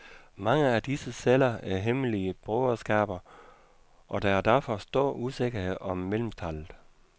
Mange af disse celler er hemmelige broderskaber, og der er derfor stor usikkerhed om medlemstallet.